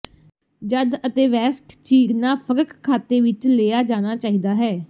ਜਦ ਅਤੇਵੈੱਸਟ ਚੀਰਨਾ ਫਰਕ ਖਾਤੇ ਵਿੱਚ ਲਿਆ ਜਾਣਾ ਚਾਹੀਦਾ ਹੈ